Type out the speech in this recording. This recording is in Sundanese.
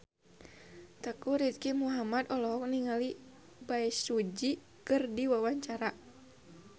Teuku Rizky Muhammad olohok ningali Bae Su Ji keur diwawancara